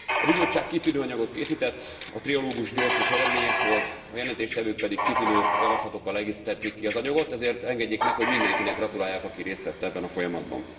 A Bizottság kitűnő anyagot készített, a trialógus gyors és eredményes volt, a jelentéstevők pedig kitűnő javaslatokkal egészítették ki az anyagot, ezért engedjék meg, hogy mindenkinek gratuláljak, aki részt vett ebben a folyamatban.